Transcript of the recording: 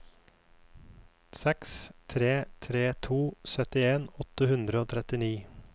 seks tre tre to syttien åtte hundre og trettini